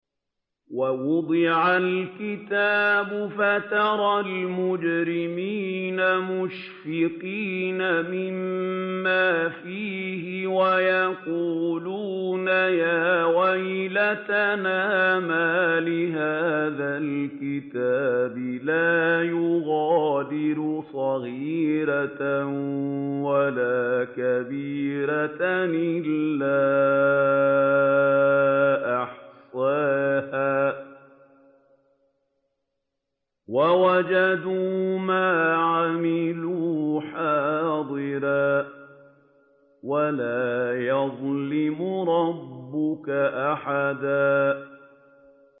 وَوُضِعَ الْكِتَابُ فَتَرَى الْمُجْرِمِينَ مُشْفِقِينَ مِمَّا فِيهِ وَيَقُولُونَ يَا وَيْلَتَنَا مَالِ هَٰذَا الْكِتَابِ لَا يُغَادِرُ صَغِيرَةً وَلَا كَبِيرَةً إِلَّا أَحْصَاهَا ۚ وَوَجَدُوا مَا عَمِلُوا حَاضِرًا ۗ وَلَا يَظْلِمُ رَبُّكَ أَحَدًا